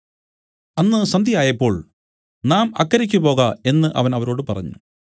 അന്ന് സന്ധ്യയായപ്പോൾ നാം അക്കരയ്ക്ക് പോക എന്നു അവൻ അവരോട് പറഞ്ഞു